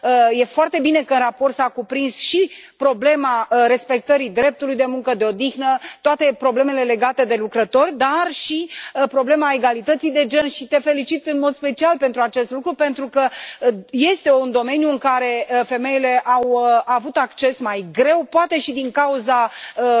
e foarte bine că în raport s a cuprins și problema respectării dreptului de muncă, de odihnă, toate problemele legate de lucrători, dar și problema egalității de gen și te felicit în mod special pentru acest lucru pentru că este un domeniu în care femeile au avut acces mai greu, poate și din cauza a